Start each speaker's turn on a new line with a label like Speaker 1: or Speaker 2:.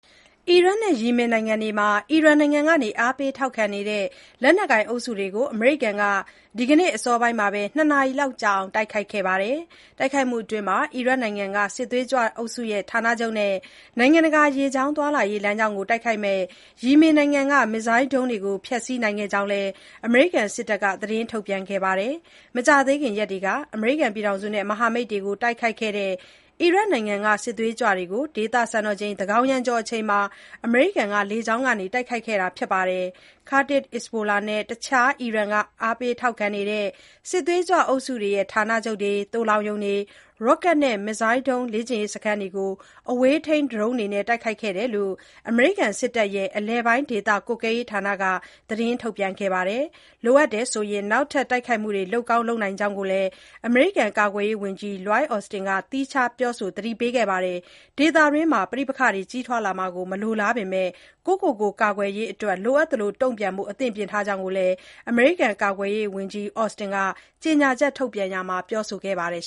Speaker 1: အီရတ်နဲ့ ယီမင်နိုင်ငံတွေမှာ အီရန်နိုင်ငံက အားပေးထောက်ခံနေတဲ့ လက်နက်ကိုင်အုပ်စုတွေကို အမေရိကန်က ဒီကနေ့ အစောပိုင်းမှာပဲ ၂ နာရီလောက်ကြာအောင် တိုက်ခိုက်ခဲ့ပါတယ်။ တိုက်ခိုက်မှုအတွင်း အီရတ်နိုင်ငံက စစ်သွေးကြွအုပ်စုရဲ့ ဌာနချုပ်နဲ့ နိုင်ငံတကာ ရေကြောင်းသွားလာရေး လမ်းကြောင်းကို တိုက်ခိုက်မယ့် ယီမင်နိုင်ငံက မစ်ဇိုင်းဒုံးတွေကို ဖျက်ဆီးနိုင်ခဲ့ကြောင်းလည်း အမေရိကန် စစ်တပ်က သတင်းထုတ်ပြန်ခဲ့တာပါ။ မကြာသေးခင်ရက်တွေက အမေရိကန်နဲ့ မဟာမိတ်တွေကို တိုက်ခိုက်ခဲ့တဲ့ အီရတ်နိုင်ငံက စစ်သွေးကြွတွေကို ဒေသစံတော်ချိန် သန်းခေါင်ယံကျော်အချိန်မှာ အမေရိကန်က လေကြောင်းကနေ တိုက်ခိုက်ခဲ့တာ ဖြစ်ပါတယ်။ Kataib Hezbollah နဲ့ တခြား အီရန်က အားပေးထောက်ခံနေတဲ့ စစ်သွေးကြွအုပ်စုတွေရဲ့ ဌာနချုပ်တွေ၊ သိုလှောင်ရုံတွေ၊ ရော့ကတ်နဲ့ မစ်ဇိုင်းဒုံး လေ့ကျင့်ရေး စခန်းတွေကို အဝေးထိန်းဒရုန်းတွေနဲ့ တိုက်ခိုက်ခဲ့ကြောင်း အမေရိကန်စစ်တပ်ရဲ့ အလယ်ပိုင်းဒေသကွပ်ကဲရေးဌာနက သတင်းထုတ်ပြန်ခဲ့တာပါ။ လိုအပ်ရင်နောက်ထပ် တိုက်ခိုက်မှုတွေ လုပ်ကောင်းလုပ်နိုင်ကြောင်းလည်း အမေရိကန် ကာကွယ်ရေးဝန်ကြီး Lloyd Austin က သီးခြားပြောဆို သတိပေးခဲ့ပါတယ်။ ဒေသတွင်းမှာ ပဋိပက္ခတွေ ကြီးထွားလာမှာကို မလိုလားပေမဲ့ ကိုယ့်ကိုယ်ကို ကာကွယ်ရေးအတွက် လိုအပ်သလို တုံ့ပြန်ဖို့ အသင့်ပြင်ထားကြောင်း ဝန်ကြီး Austin က ကြေညာချက်ထုတ်ပြန်ရာမှာ ပြောဆိုခဲ့ပါတယ်